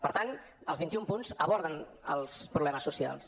per tant els vint i un punts aborden els problemes socials